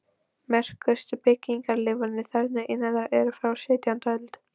Merkustu byggingarleifarnar þarna í neðra eru frá sautjándu öld.